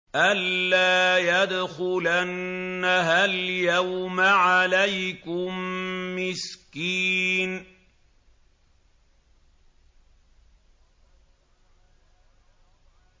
أَن لَّا يَدْخُلَنَّهَا الْيَوْمَ عَلَيْكُم مِّسْكِينٌ